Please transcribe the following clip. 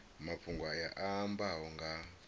mafhungo aya a ambaho nga